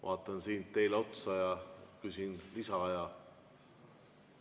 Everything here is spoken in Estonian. Vaatan siit teile otsa ja küsin lisaaja kohta.